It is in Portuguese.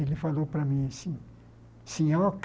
Ele falou para mim assim, senhor